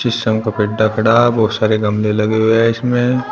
बहुत सारे गमले लगे हुए हैं इसमे।